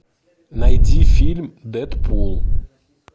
найди фильм дэдпул